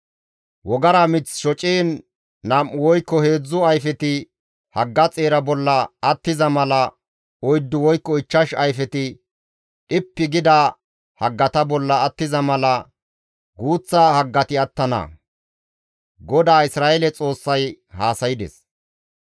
Wogara mith shociin nam7u woykko heedzdzu ayfeti hagga xeera bolla attiza mala oyddu woykko ichchash ayfeti dhippi gida haggata bolla attiza mala guuththa haggati attana» gi GODAA Isra7eele Xoossay haasaydes.